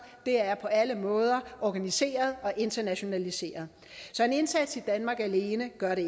det er på alle måder organiseret og internationaliseret så en indsats i danmark alene gør det